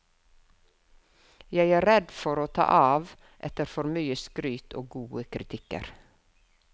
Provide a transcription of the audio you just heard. Jeg er redd for å ta av, etter for mye skryt og gode kritikker.